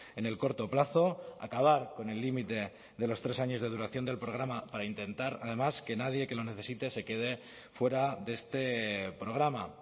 en el corto plazo acabar con el límite de los tres años de duración del programa para intentar además que nadie que lo necesite se quede fuera de este programa